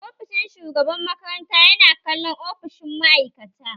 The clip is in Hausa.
Ofishin shugaban makaranta yana kallon ofishin ma'aikata